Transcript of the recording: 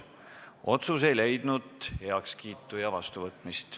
Otsus ei leidnud heakskiitu ja vastuvõtmist.